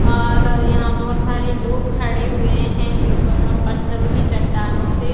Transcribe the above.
और यहां बहुत सारे लोग खड़े हुए हैं एक पत्थरों की चट्टानों से --